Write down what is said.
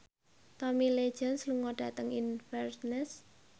Tommy Lee Jones lunga dhateng Inverness